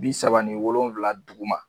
Bi saba ni wolonwula dugu ma.